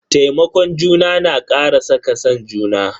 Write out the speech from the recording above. Taimakon juna na kara saka san juna.